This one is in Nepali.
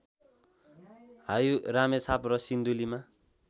हायू रामेछाप र सिन्धुलीमा